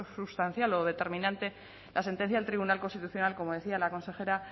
sustancial o determinante la sentencia del tribunal constitucional como decía la consejera